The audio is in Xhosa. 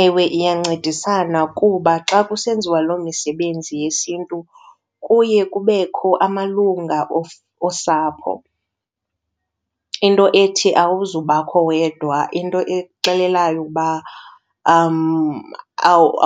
Ewe, iyancedisana kuba xa kusenziwa loo misebenzi yesiNtu kuye kubekho amalungu osapho. Into ethi awuzubakho wedwa, into ekuxelelelayo uba